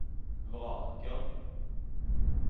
vraker